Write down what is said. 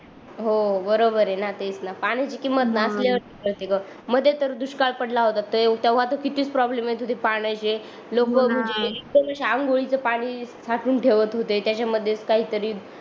हो बरोबर आहे न पाण्याची किंमत नसल्या वरच कळते ग मध्ये तर दुष्काळ पडला होता तेव्हा तर किती प्रॉब्लेम येत होती पाण्याची आंघोळीच पाणी साचून ठेवत होते त्याच्यामध्ये काही तरी